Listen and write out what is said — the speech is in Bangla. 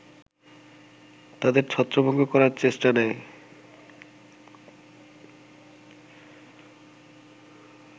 তাদের ছত্রভঙ্গ করার চেষ্টা নেয়